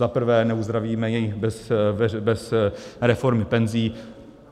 Zaprvé, neuzdravíme je bez reformy penzí.